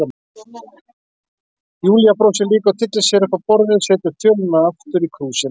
Júlía brosir líka og tyllir sér upp á borðið, setur þjölina aftur í krúsina.